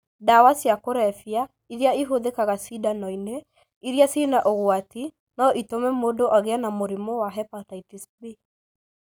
Ndawa cia kũrebia iria ihũthĩkaga cindano-inĩ iria cĩina ũgwati no ĩtũme mũndũ agĩe na mũrimũ wa hepatitis B